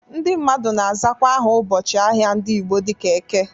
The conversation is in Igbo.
Ndị mmadụ na-azakwa aha ụbọchị ahịa ndị Igbo dịka Eke.